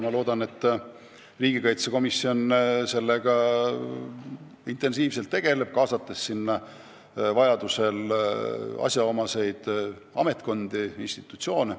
Loodetavasti riigikaitsekomisjon tegeleb sellega intensiivselt, kaasates vajadusel asjaomaseid ametkondi ja institutsioone.